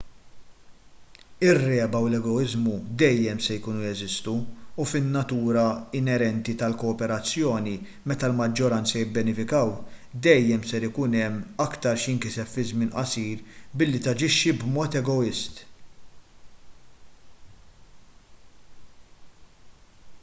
ir-regħba u l-egoiżmu dejjem se jkunu jeżistu u fin-natura inerenti tal-kooperazzjoni meta l-maġġoranza jibbenefikaw dejjem se ikun hemm aktar x'jinkiseb fi żmien qasir billi taġixxi b'mod egoist